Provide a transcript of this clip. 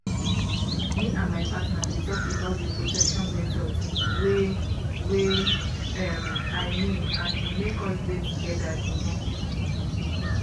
me and my partner been talk about the protection methods wey wey um i mean and e make us dey together the more